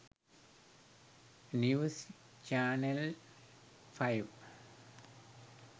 news channel 5